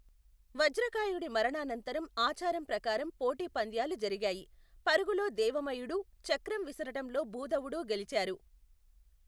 వజ్రకాయుడి మరణానంతరం ఆచారం ప్రకారం పోటీపంద్యాలు జరిగాయి. పరుగులో దేవమయుడూ, చక్రం విసరటంలో భూధవుడూ గెలిచారు.